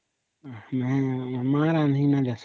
ନାଇଁ ନାଇଁ ମତେ ନାଇଁ ରାନ୍ଧି ଆସନ